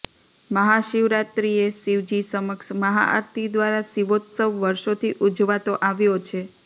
મહા શિવરાત્રિએ શિવજી સમક્ષ મહા આરતી દ્વારા શિવોત્સવ વર્ષોથી ઉજવાતો આવ્યો છે